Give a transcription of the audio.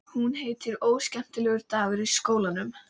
Hún heitir Óskemmtilegur dagur í skólanum.